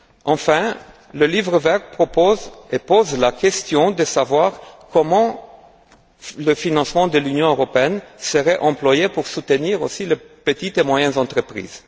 Enfin, le Livre vert pose la question de savoir comment le financement de l'Union européenne serait employé pour soutenir aussi les petites et moyennes entreprises.